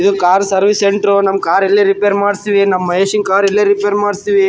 ಇದು car service centre ನಮ್ಮ್ car ಇಲ್ಲೆ ರಿಪೇರ್ ಮಾಡ್ಸ್ತಿವಿ ನಮ್ಮ್ ಮಹೇಶನ್ ಕಾರ್ ಇಲ್ಲೆ ರಿಪೇರ್ ಮಾಡ್ಸ್ತಿವಿ.